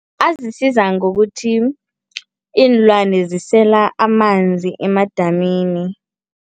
Azisiza ngokuthi iinlwane zisela amanzi emadamini.